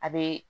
A bee